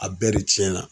A bɛɛ de tiɲɛna